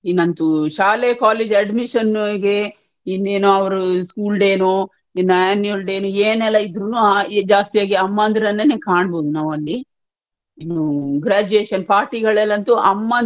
ಇನ್ನಂತೂ ಶಾಲೆ college admission ಗೆ ಇನ್ನೇನ್ನೋ ಅವ್ರSchool day ನೋ ಇನ್ Annual day ಏನೆಲ್ಲ ಇದ್ರೇನೋ ಜಾಸ್ತಿಯಾಗಿ ಅಮ್ಮಂದಿರನ್ನೇ ಕಾಣಬಹುದು graduation party ಗಳಲ್ಲಂತು ಅಮ್ಮಂದ್ರು,